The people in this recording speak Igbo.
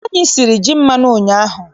Anyị siri ji mmanụ ụnyaahụ.